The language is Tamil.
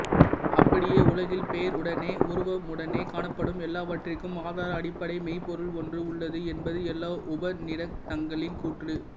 அப்படியே உலகில் பெயருடனோ உருவமுடனோ காணப்படும் எல்லாவற்றிற்கும் ஆதார அடிப்படை மெய்ப்பொருள் ஒன்று உள்ளது என்பது எல்லா உபநிடதங்களின் கூற்று